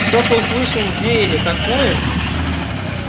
что-то услышал в вере такое